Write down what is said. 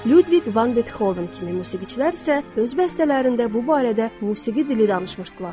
Ludwig van Beethoven kimi musiqiçilər isə öz bəstələrində bu barədə musiqi dili danışmışdılar.